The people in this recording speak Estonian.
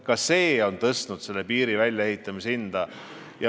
Ka see on tõstnud piiri väljaehitamise hinda.